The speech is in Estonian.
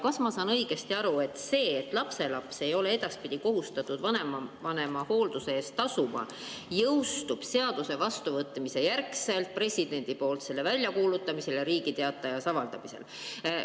Kas ma saan õigesti aru, et see, et lapselaps ei ole edaspidi kohustatud vanavanema hoolduse eest tasuma, jõustub seaduse vastuvõtmise järel, kui president selle välja kuulutab ja see Riigi Teatajas avaldatakse?